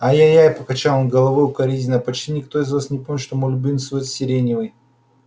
ай-яй-яй покачал он головой укоризненно почти никто из вас не помнит что мой любимый цвет сиреневый